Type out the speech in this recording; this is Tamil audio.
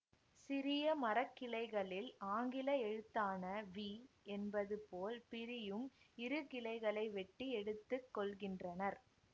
சிறிய மரக்கிளைகளில் ஆங்கில எழுத்தான வி என்பது போல் பிரியும் இருகிளைகளை வெட்டி எடுத்து கொள்கின்றனர்